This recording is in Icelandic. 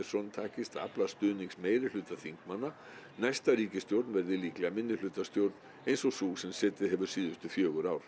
takist að afla stuðnings meirihluta þingmanna næsta ríkisstjórn verði líklega minnihlutastjórn eins og sú sem setið hefur síðustu fjögur ár